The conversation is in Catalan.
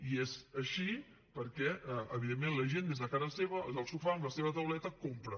i és així perquè evidentment la gent des de casa seva des del sofà amb la seva tauleta compra